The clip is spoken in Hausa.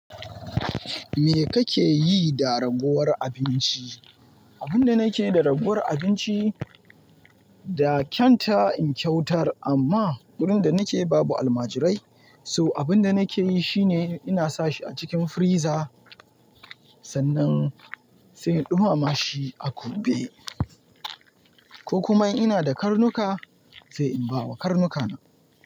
Me kake yi da ragowar abinci? Abin da nake da ragowar abinci da kyanta in kyautar amma wurin da nake babu almajirai. So abin da nake yi shine ina sa shi a cikin friza sannan sai in ɗumama shi a gobe ko kuma in ina da karnuka sai in ba wa karnuka na.